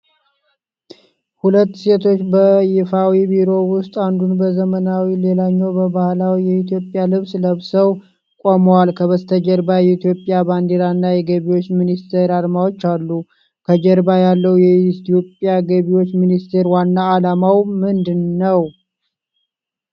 ሁለት ሴቶች በይፋዊ ቢሮ ውስጥ አንዱ በዘመናዊ ሌላኛው በባህላዊ የኢትዮጵያ ልብስ ለብሰው ቆመዋል። ከበስተጀርባ የኢትዮጵያ ባንዲራ እና የገቢዎች ሚኒስቴር አርማዎች አሉ። ከጀርባ ያለው የኢትዮጵያ ገቢዎች ሚኒስቴር ዋና ዓላማ ምንድን ነው?